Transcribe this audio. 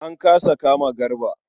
An kasa kama Garba.